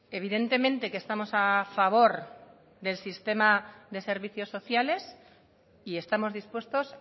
evidentemente que estamos a favor del sistema de servicios sociales y estamos dispuestos